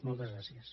moltes gràcies